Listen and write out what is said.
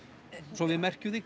svo við merkjum þig